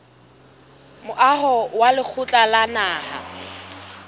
moaho wa lekgotla la naha